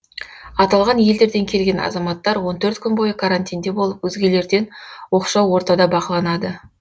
аталған елдерден келген азаматтар он төрт күн бойы карантинде болып өзгелерден оқшау ортада бақыланады